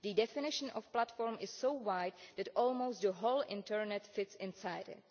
The definition of platform is so wide that almost the whole internet fits inside it.